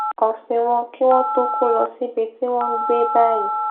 òsìn wọn kí wón tó kó lọ síbi tí wón ń gbé báyìí